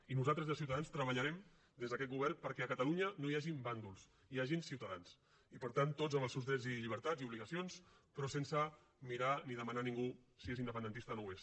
i nosaltres des de ciutadans treballarem des d’aquest govern perquè a catalunya no hi hagin bàndols hi hagin ciutadans i per tant tots amb els seus drets i llibertats i obligacions però sense mirar ni demanar a ningú si és independentista o no ho és